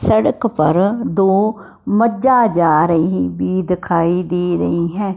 सड़क पर दो मज्जा जा रहीं बी दिखाई दे रहीं हैं।